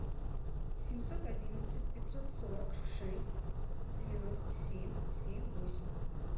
семьсот одиннадцать пятьсот сорок шесть девяносто семь семь восемь